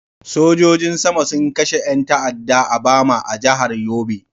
Sojojin sama sun kashe yan ta'adda a Bama a jihar Yobe.